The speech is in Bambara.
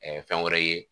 fɛn wɛrɛ ye